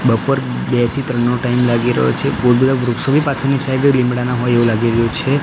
બપોર બે થી ત્રણ નો ટાઈમ લાગી રહ્યો છે બો બધા વૃક્ષો બી પાછળની સાઇડે લીમડાના હોય એવું લાગી રહ્યું છે.